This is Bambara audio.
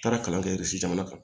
Taara kalan kɛ jamana kan